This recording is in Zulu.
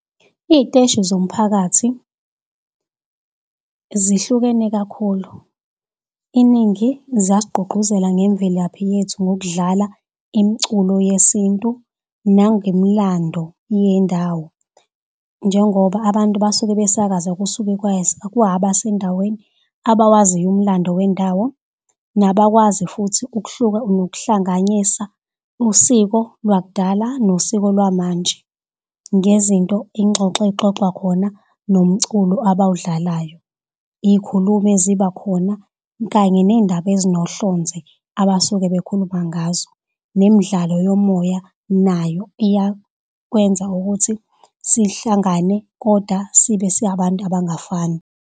Iy'teshi zomphakathi zihlukene kakhulu, iningi ziyasigqugquzela ngemvelaphi yethu ngokudlala imculo yesintu nangemlando yendawo. Njengoba abantu basuke besakaza kusuke kwaba sendaweni abawaziyo umlando wendawo. Nabakwazi futhi nokuhlanganyisa usiko lwakudala nosiko lwamanje ngezinto ingxoxo exoxwa khona nomculo abawudlalayo, iy'khulumi eziba khona kanye ney'ndaba ezinohlonze abasuke bekhuluma ngazo. Nemdlalo yomoya nayo iyakwenza ukuthi sihlangane, kodwa sibe si abantu abangafani.